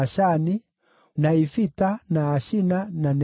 na Ifita, na Ashina, na Nezibu,